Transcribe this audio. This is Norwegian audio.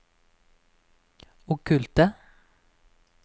okkulte